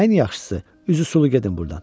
Ən yaxşısı, üzü sulu gedin burdan.